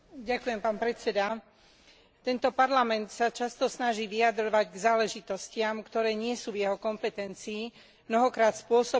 Tento Parlament sa často snaží vyjadrovať k záležitostiam, ktoré nie sú v jeho kompetencii, mnohokrát spôsobom, ktorý považujem za škodlivý.